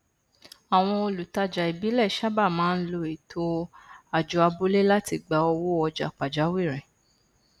àwọn olùtajà ìbílẹ sábà máa n lo ètò àjọ abúlé láti gba owó ọjà pàjáwìrì